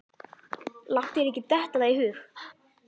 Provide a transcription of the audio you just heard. Láttu þér ekki detta það í hug.